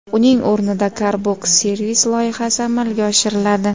Uning o‘rnida Car Box Service loyihasi amalga oshiriladi.